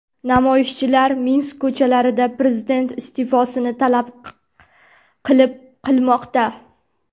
Namoyishchilar Minsk ko‘chalarida prezident iste’fosini talab qilib qilmoqda .